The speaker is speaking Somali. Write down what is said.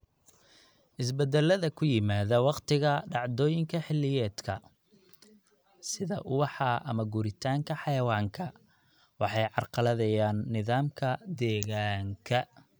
Isbeddellada ku yimaadda wakhtiga dhacdooyinka xilliyeedka, sida ubaxa ama guuritaanka xayawaanka, waxay carqaladeeyaan nidaamka deegaanka.